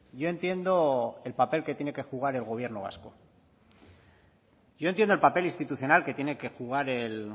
yo entiendo el papel que tiene que jugar el gobierno vasco yo entiendo el papel institucional que tiene que jugar el